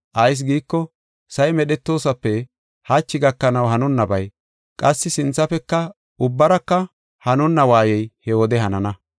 Ayis giiko, sa7i medhetoosape hachi gakanaw hanonnabay, qassi sinthafeka ubbaraka hanonna waayey he wode hanana.